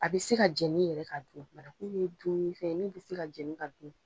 A bi se ka jɛni yɛrɛ ka dun, bananku ye dumunifɛn mun bi se ka jɛni ka dun.